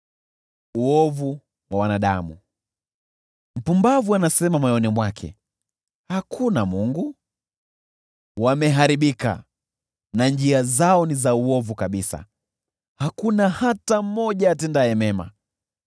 Mpumbavu anasema moyoni mwake, “Hakuna Mungu.” Wameharibika, na njia zao ni za uovu kabisa, hakuna hata mmoja atendaye mema.